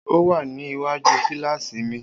O wà ní iwaju kíláàsì mi